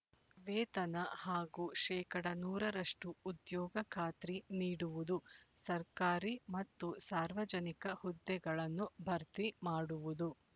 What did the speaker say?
ವೇತನ ಹಾಗೂ ಶೇಕಡಾ ನೂರ ರಷ್ಟು ಉದ್ಯೋಗ ಖಾತ್ರಿ ನೀಡುವುದು ಸರ್ಕಾರಿ ಮತ್ತು ಸಾರ್ವಜನಿಕ ಹುದ್ದೆಗಳನ್ನು ಭರ್ತಿ ಮಾಡುವುದು